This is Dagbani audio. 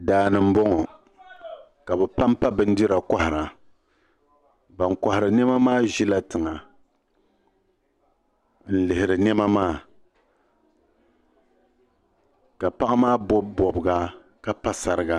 Daani m bo ŋɔ ka bi pampa bindira n kɔhira ban kɔhiri nɛma maa ʒila tiŋa n lihiri nɛma maa ka paɣa maa bobi bobiga ka pa sariga.